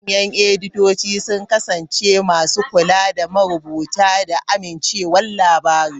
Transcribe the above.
Manyan editoci sun kasance masu kula da marubuta da amincewar labarin.